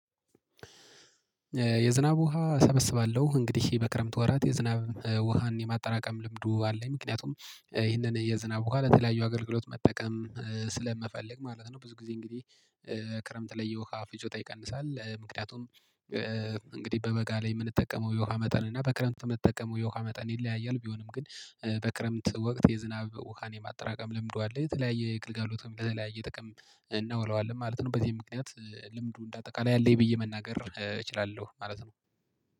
የዝናብ ውሃ እሰበስባለሁ። እንግዲህ በክረምት ወራት የዝናብ ውሃን የማጠራቀም ልምዱ አለኝ። ምክንያቱም ይህንን የዝናብ ውሃ ለተለያዩ አገልግሎት መጠቀም ስለምፈልግ ማለት ነው። ብዙ ጊዜ እንግዲህ ክረምት ላይ የውሃ ፍጆታ ይቀንሳል። ምክንያቱም እንግዲህ በበጋ ላይ የምንጠቀመው የውሃ መጠን እና በክረምት የምንጠቀመው የውሃ መጠን ይለያያል። ቢሆንም ግን በክረምት ወቅት የዝናብ ውሃን የማጠራቀም ልምዱ አለኝ። የተለያየ ግልጋሎትም ለተለያየ ጥቅም እናውለዋለን ማለት ነው። በዚህም ምክንያት ልምዱ እንደ አጠቃላይ አለኝ ብዬ መናገር እችላለሁ ማለት ነው።